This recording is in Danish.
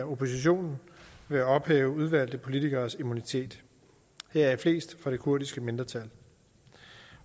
oppositionen ved at ophæve udvalgte politikeres immunitet heraf flest fra det kurdiske mindretal